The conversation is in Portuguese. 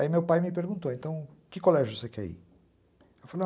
Aí meu pai me perguntou, então que colégio você quer ir?